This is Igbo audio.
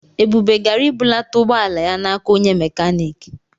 Ebube gara ibulata ụgbọala ya n'aka onye mekaniki.